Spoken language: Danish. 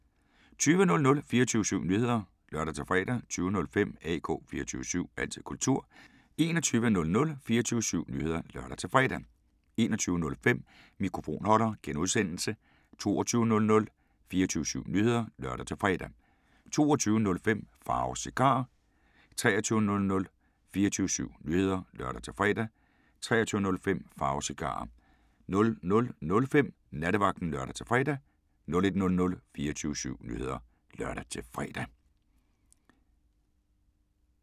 20:00: 24syv Nyheder (lør-fre) 20:05: AK 24syv – altid kultur 21:00: 24syv Nyheder (lør-fre) 21:05: Mikrofonholder (G) 22:00: 24syv Nyheder (lør-fre) 22:05: Pharaos Cigarer 23:00: 24syv Nyheder (lør-fre) 23:05: Pharaos Cigarer 00:05: Nattevagten (lør-fre) 01:00: 24syv Nyheder (lør-fre)